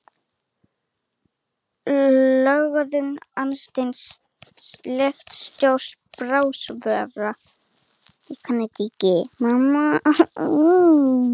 Lögun augasteinsins lýtur stjórn brárvöðva.